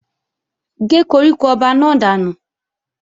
Gé koríko ọba náà dànù!